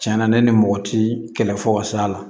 Tiɲɛna ne ni mɔgɔ ti kɛlɛ fɔ ka s'a la